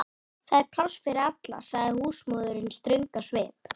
Það er pláss fyrir alla, sagði húsmóðirin ströng á svipinn.